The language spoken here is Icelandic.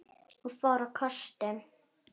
Hún fór á kostum.